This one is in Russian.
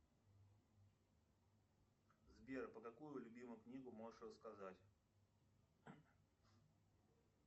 сбер про какую любимую книгу можешь рассказать